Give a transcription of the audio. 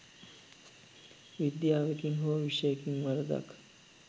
විද්‍යාවකින් හෝ විෂයකින් වරදක්